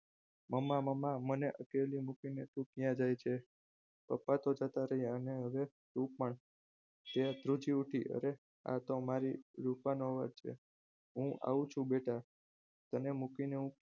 મમ્મા મમ્મા મને અકેલી મૂકીને ક્યાં જાય છે પપ્પા તો જતા રહ્યા હવે તું પણ તે ત્રીજી ઉઠી હરે આ તો મારી રૂપાનો અવાજ છે હું આવું છું બેટા તને મૂકીને હું